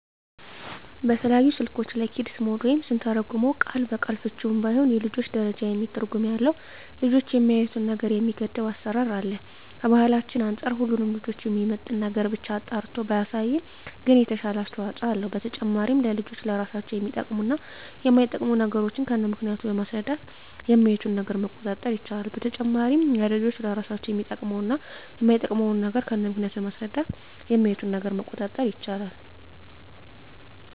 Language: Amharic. በተለያዩ ስልኮች ላይ "ኪድስ ሞድ" ወይም ስንተረጉመው ቃል በቃል ፍችውም ባይሆን የልጆች ደረጃ የሚል ትርጉም ያለው ልጆች የሚያዪትን ነገር የሚገድብ አሰራር አለ። ከባህላችን አንፃር ሁሉንም ልጆችን የሚመጥን ነገርን ብቻ አጣርቶ ባያሳይም ግን የተሻለ አስተዋጽኦ አለው። በተጨማሪም ለልጆች ለራሳቸው የሚጠቅሙ እና የማይጠቅሙ ነገሮችን ከነምክንያቱ በማስረዳት የሚያዪትን ነገር መቆጣጠር ይቻላል። በተጨማሪም ለልጆች ለራሳቸው የሚጠቅሙ እና የማይጠቅሙ ነገሮችን ከነምክንያቱ በማስረዳት የሚያዪትን ነገር መቆጣጠር ይቻላል።